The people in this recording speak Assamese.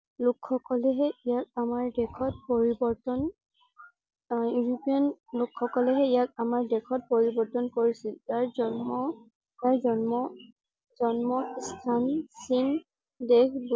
লোক সকলে হে ইয়াক আমাৰ দেশত পৰিবৰ্তন আহ ইউপৰিয়ান লোক সকলে হে ইয়াক আমাৰ দেশত পৰিবৰ্তন কৰিছিল। ইয়াৰ জন্ম ইয়াৰ জন্ম জন্ম স্থান চীন দেশ